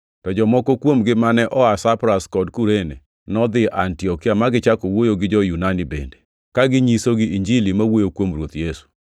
To jomoko kuomgi mane oa Saipras kod Kurene, nodhi Antiokia ma gichako wuoyo gi jo-Yunani bende, ka ginyisogi Injili ma wuoyo kuom Ruoth Yesu.